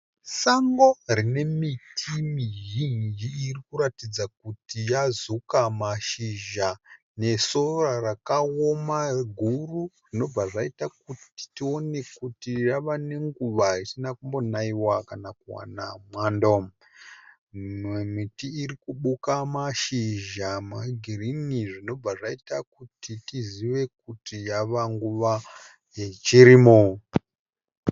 Sango rine miti mizhinji iri kuratidza kuti yazuka mashizha nesora rakaoma guru zvinobva zvaita kuti tione kuti yava nenguva isina kumbonaiwa kana kuwana mwando. Imwe miti iri kubuka mashizha egirini zvinobva zvaita kuti tizive kuti yava nguva yechirimo.